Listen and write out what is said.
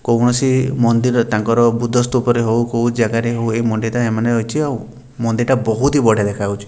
କୌଣସି ମନ୍ଦିର ତାଙ୍କର ବୁଦ୍ଧସ୍ତ ଉପରେ ହଉ କଉ ଜାଗାରେ ହୁଏ ରହିଚି ଆଉ ମନ୍ଦିରଟା ବହୁତ ହି ବଢ଼ିଆ ଦେଖାଯାଉଛି।